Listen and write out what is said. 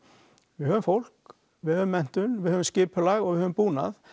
við höfum fólk við höfum menntun við höfum skipulag og við höfum búnað